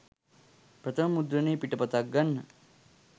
ප්‍රථම මුද්‍රණය පිටපතක් ගන්න